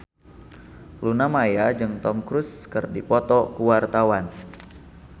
Luna Maya jeung Tom Cruise keur dipoto ku wartawan